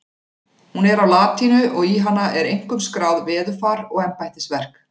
Hún er á latínu og í hana er einkum skráð veðurfar og embættisverk.